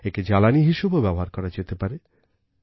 একে জ্বালানি হিসেবেও ব্যবহার করা যেতে পারে